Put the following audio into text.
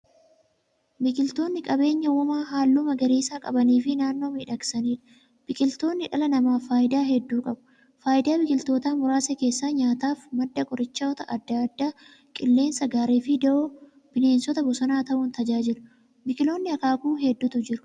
Biqiltootni qabeenya uumamaa haalluu magariisa qabaniifi naannoo miidhagsaniidha. Biqiltootni dhala namaaf faayidaa hedduu qabu. Faayidaa biqiltootaa muraasa keessaa; nyaataaf, madda qorichoota adda addaa, qilleensa gaariifi dawoo bineensota bosonaa ta'uun tajaajilu. Biqiltootni akaakuu hedduutu jiru.